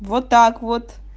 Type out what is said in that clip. вот так вот